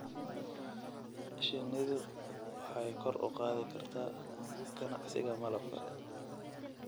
Shinnidu waxay kor u qaadi kartaa ganacsiga malabka.